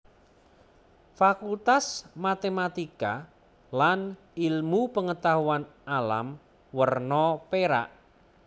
Fakultas Matematika lan Ilmu Pengetahuan Alam werna perak